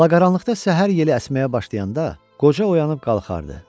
Alaqaranlıqda səhər yeli əsməyə başlayanda, qoca oyanıb qalxardı.